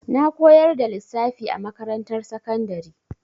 Na koyar da lissafi a makarantar sakandari.